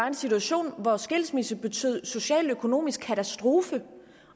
en situation hvor skilsmisse betød social og økonomisk katastrofe